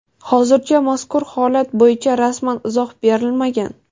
Hozircha mazkur holat bo‘yicha rasmiy izoh berilmagan.